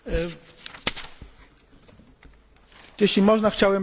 Jeśli można, chciałbym bardzo, Panie Przewodniczący, podziękować za zabranie głosu.